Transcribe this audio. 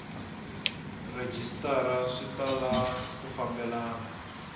rhejisitara swi tala ku fambelana